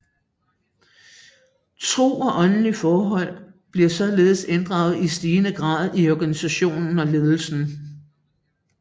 Tro og åndelige forhold bliver således inddraget i stigende grad i organisation og ledelse